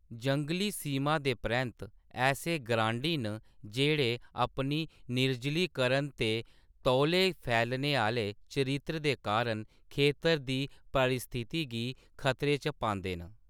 जंगली सीमा दे परैंत्त, ऐसे ग्रांडी न जेह्‌‌ड़े अपने निर्जलीकरण ते तौले फैलने आह्‌‌‌ले चरित्र दे कारण खेतर दी पारिस्थिति गी खतरे च पांदे न।